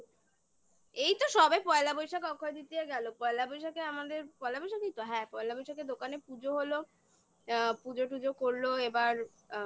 এই তো সবে পয়লা বৈশাখ অক্ষয় তৃতীয়া গেল পয়লা বৈশাখে আমাদের পয়লা বৈশাখই তো হ্যাঁ পয়লা বৈশাখে দোকানে পুজো হলো পুজো টুজো করলো এবার আ